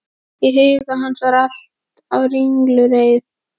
Í huga hans var allt á ringulreið.